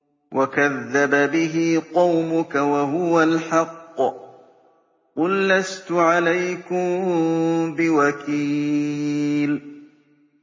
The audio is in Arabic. وَكَذَّبَ بِهِ قَوْمُكَ وَهُوَ الْحَقُّ ۚ قُل لَّسْتُ عَلَيْكُم بِوَكِيلٍ